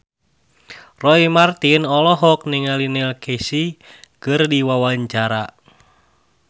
Roy Marten olohok ningali Neil Casey keur diwawancara